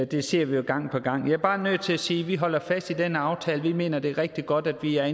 det ser vi gang på gang jeg er bare nødt til at sige at vi holder fast i den aftale for vi mener at det er rigtig godt at vi er